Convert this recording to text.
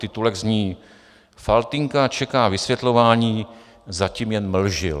Titulek zní: Faltýnka čeká vysvětlování, zatím jen mlžil.